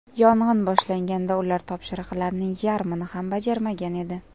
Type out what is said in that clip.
Yong‘in boshlanganda ular topshiriqlarning yarmini ham bajarmagan edi.